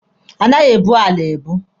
A naghị ebu ala ebu.